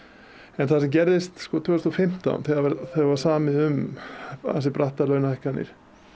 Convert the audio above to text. en það sem gerðist sko tvö þúsund og fimmtán þegar var samið um ansi brattar launahækkanir